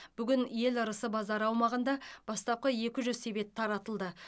бүгін ел ырысы базары аумағында бастапқы екі жүз себет таратылды